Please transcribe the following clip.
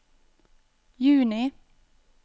juni